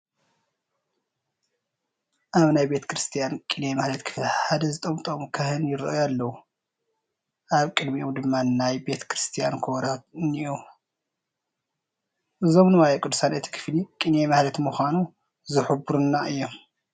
ኣብ ናይ ቤተ ክርስቲያን ቅኔ ማህሌት ክፍሊ ሓደ ዝጠምጠሙ ካህን ይርአዩ ኣለዉ፡፡ ኣብ ቅድሚኦም ድማ ናይ ቤተ ክርስቲያን ከበሮታት እኔዉ፡፡ እዞም ንዋየ ቅድሳት እቲ ክፍሊ ቅኔ ማህሌት ምዃኑ ዝሕብሩልና እዮም፡፡